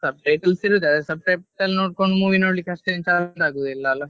Subtitles ಇರತ್ತೆ ಆದ್ರೆ subtitles ನೋಡ್ಕೊಂಡು movie ನೋಡ್ಲಿಕ್ಕೆ ಅಷ್ಟೇನು ಚೆಂದ ಆಗುದಿಲ್ಲ ಅಲ್ಲಾ.